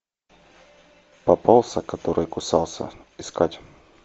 попался который кусался искать